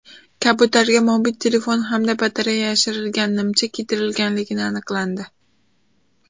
Kabutarga mobil telefon hamda batareya yashirilgan nimcha kiydirilganini aniqlandi.